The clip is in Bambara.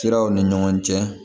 Siraw ni ɲɔgɔn cɛ